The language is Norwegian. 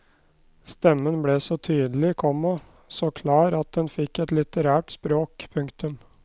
Stemmen ble så tydelig, komma så klar at den fikk et litterært språk. punktum